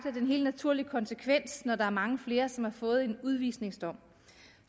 er en helt naturlig konsekvens når der er mange flere som har fået en udvisningsdom